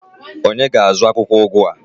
onye ga-azụ akwukwo ugu a?